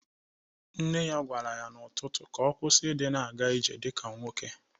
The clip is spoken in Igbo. Nne ya gwara ya n'ụtụtụ ka ọ kwusi ịdị na-aga ije dịka nwoke.